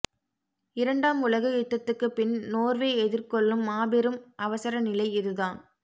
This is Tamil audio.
இரண்டாம் உலக யுத்தத்துக்குப் பின் நோர்வே எதிர்கொள்ளும் மாபெரும் அவசர நிலை இதுதான்